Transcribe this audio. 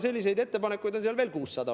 Selliseid ettepanekuid on seal veel umbes 600.